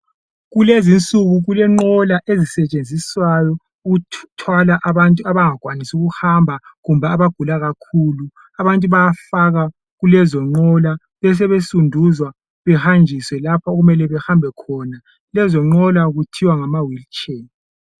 Kulezinsuku kulenqola ezisetshenziswayo ukuthwala abantu abangakwanisi ukuhamba kumbe abagula kakhulu. Abantu bayafaka kulezo nqola besebesunduzwa behanjiswe lapho okumele behambe khona. Lezo nqola kuthiwa ngama wheelchair.